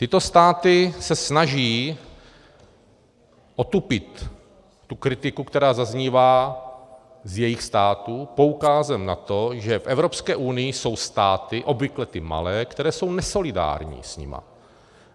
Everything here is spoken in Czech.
Tyto státy se snaží otupit tu kritiku, která zaznívá z jejich státu, poukazem na to, že v Evropské unii jsou státy, obvykle ty malé, které jsou nesolidární s nimi.